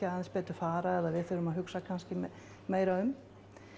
aðeins betur fara eða við þurfum að hugsa meira um